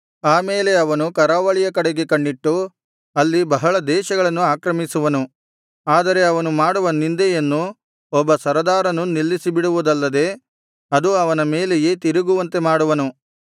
ಆ ಮೇಲೆ ಅವನು ಕರಾವಳಿಯ ಕಡೆಗೆ ಕಣ್ಣಿಟ್ಟು ಅಲ್ಲಿ ಬಹಳ ದೇಶಗಳನ್ನು ಆಕ್ರಮಿಸುವನು ಆದರೆ ಅವನು ಮಾಡುವ ನಿಂದೆಯನ್ನು ಒಬ್ಬ ಸರದಾರನು ನಿಲ್ಲಿಸಿ ಬಿಡುವುದಲ್ಲದೆ ಅದು ಅವನ ಮೇಲೆಯೇ ತಿರುಗುವಂತೆ ಮಾಡುವನು